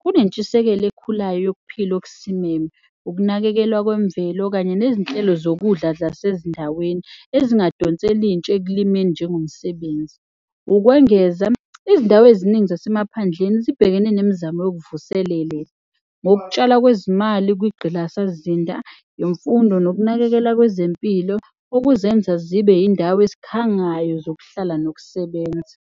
Kunentshisekelo ekhulayo yokuphila okusimeme, ukunakekelwa kwemvelo kanye nezinhlelo zokudla zasezindaweni. Ezingadonsela, intsha ekulimeni njengomsebenzi. Ukwengeza, izindawo eziningi zasemaphandleni zibhekene nemizamo yokuvuselele ngokutshala kwezimali kungqalasizinda. Imfundo nokunakekelwa kwezempilo okuzenza zibe yindawo ezikhangayo zokuhlala nokusebenza.